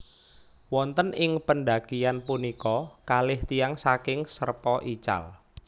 Wonten ing pendakian punika kalih tiyang saking Sherpa ical